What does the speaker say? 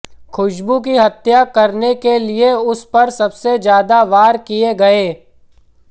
खुशबू की हत्या करने के लिए उस पर सबसे ज्यादा वार किए गए